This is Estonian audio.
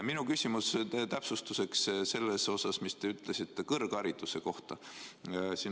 Ma küsin täpsustust selles asjas, mida te ütlesite kõrghariduse kohta.